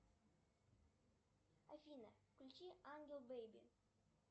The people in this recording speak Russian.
афина включи ангел бэби